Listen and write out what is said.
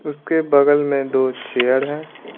उसके बगल में दो चेयर हैं।